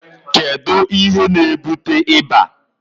kedu ihe na-ebute ịba?